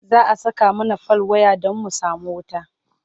za'a Saka mana fal waya Dan mu samu wuta